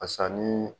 Basa ni